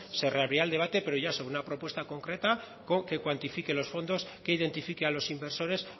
se reabrirá el debate pero ya sobre una propuesta concreta que cuantifique los fondos que identifique a los inversores